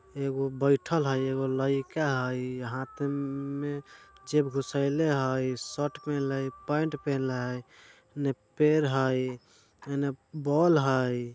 एगो बेठल हई एगो लाइके हई हाथ में जेब घुसइले हई शर्ट पहिनले पेंट पहिनले ने पेड़ हई ने बल्ब हई।